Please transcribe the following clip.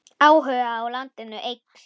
Áhugi á landinu eykst.